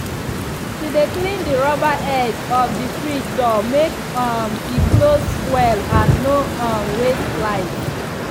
she dey clean the rubber edge of the fridge door make um e close well and no um waste light.